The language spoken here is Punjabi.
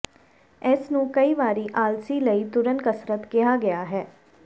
ਇਸ ਨੂੰ ਕਈ ਵਾਰੀ ਆਲਸੀ ਲਈ ਤੁਰਨ ਕਸਰਤ ਕਿਹਾ ਗਿਆ ਹੈ